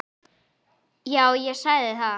Já, ég sagði það.